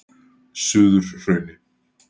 Suðurhrauni